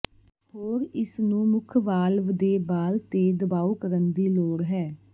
ਹੋਰ ਇਸ ਨੂੰ ਮੁੱਖ ਵਾਲਵ ਦੇ ਬਾਲ ਤੇ ਦਬਾਓ ਕਰਨ ਦੀ ਲੋੜ ਹੈ